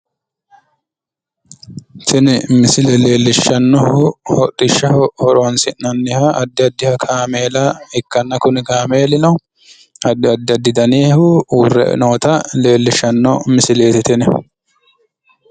Tini misile leellishshannohu hodhishshaho horoonsi'nanniha addi addiha kaameela ikkanna kuni kaameelino addi addi danihu uurre noota leellishshanno misileeti tini.